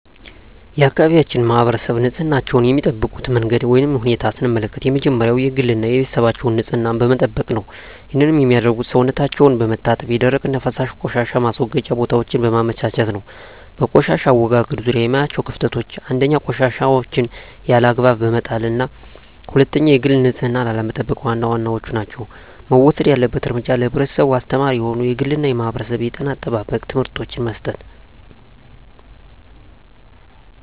የአካባቢያችን ማህበረሰብ ንፅህናቸዉን የሚጠብቁበት መንገድ ወይም ሁኔታን ስንመለከት የመጀመሪያዉ የግል እና የቤተሰባቸዉን ንፅህና በመጠበቅ ነዉ ይህንንም የሚያደርጉት ሰዉነታቸዉን በመታጠብ የደረቅና የፈሳሽ ቆሻሻ ማስወገጃ ቦታወችን በማመቻቸት ነዉ። በቆሻሻ አወጋገድ ዙሪያ የማያቸዉ ክፍተቶች፦ 1. ቆሻሻወችን ያለ አግባብ በመጣልና 2. የግል ንፅህናን አለመጠቅ ዋና ዋናወቹ ናቸዉ። መወሰድ ያለበት እርምጃ ለህብረተሰቡ አስተማሪ የሆኑ የግልና የማህበረሰብ የጤና አጠባበቅ ትምህርቶችን መስጠት።